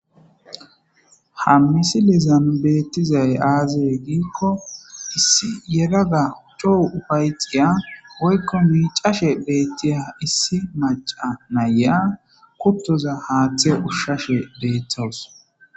ha misi lezanu beetizayaaze gikko isi yeraga uchou ufayxiya waykko miicashe beettiha issi maca na ya kutoza haathe ushshashe beethows